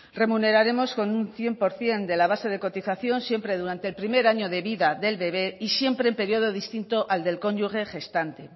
remuneraremos con un cien por ciento de la base de cotización siempre durante el primer año de vida del bebé y siempre en periodo distinto al del cónyuge gestante